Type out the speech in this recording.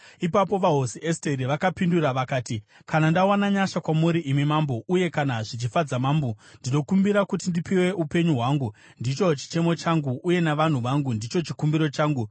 Ipapo vaHosi Esteri vakapindura vakati, “Kana ndawana nyasha kwamuri, imi Mambo, uye kana zvichifadza mambo, ndinokumbira kuti ndipiwe upenyu hwangu, ndicho chichemo changu, uye navanhu vangu, ndicho chikumbiro changu.